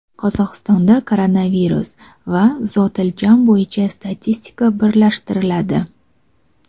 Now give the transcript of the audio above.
Qozog‘istonda koronavirus va zotiljam bo‘yicha statistika birlashtiriladi.